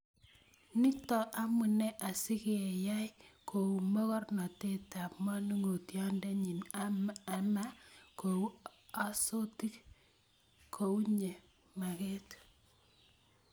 Nito amune asikeyai kou mogornotetab manongotiondenyi ama kou asotik kouye magat